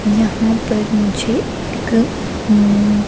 यहाँ पर मुझे एक हम्म--